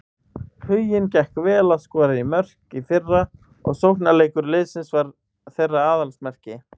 Huginn gekk vel að skora mörk í fyrra og sóknarleikur liðsins var þeirra aðalsmerki.